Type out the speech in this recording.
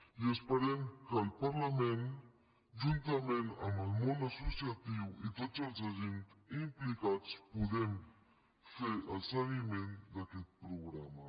i esperem que el parlament juntament amb el món associatiu i tots els agents implicats puguem fer el seguiment d’aquest programa